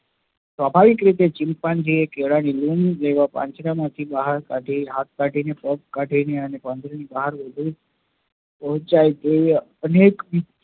સ્વાભાવિક રીતે chimpanzee કેળા ની લૂમ લેવા માટે પાંજરા માંથી હાથકાઢી, પગ કાઢી પાંજરા ની બહાર નીકળી પોહ્ન્ચાય તેવી અનેક રીતે